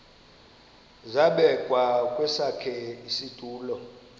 zabekwa kwesakhe isitulo